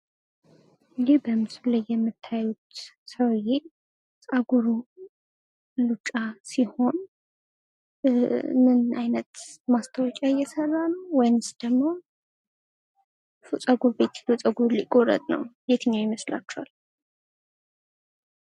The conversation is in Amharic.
ይህ በምስሉ ላይ የምታዩት ሰዉየ ጸጉሩ ሉጫ ሲሆን ፤ ምን አይነት ማስታወቂያ እየሰራ ነው ፤ ወይንስ ደሞ ጸጉር ቤት ጸጉሩን ሊቆረጥ ነው። የትኛው ይመስላችኋል?